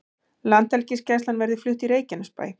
Landhelgisgæslan verði flutt í Reykjanesbæ